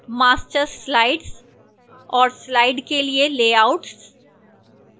master slides और slides के लिए layouts